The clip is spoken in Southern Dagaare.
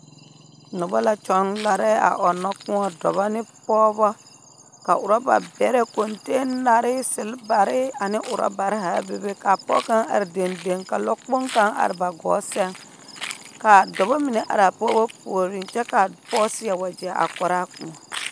Noba la kyɔŋ larɛɛ a ɔnnɔ kõɔ dɔbɔ ne pɔɔbɔ ka orɔba bɛrɛ kɔnteenare selebare ane orɔbare haa bebe kaa pɔg kaŋ are dendeŋ ka lɔkpoŋ kaŋ are ba gɔɔ sɛŋ, kaa dɔbɔ mine araa pɔɔbɔ puoriŋ kyɛ kaa pɔg seɛ wagyɛ a kɔraa kõɔ.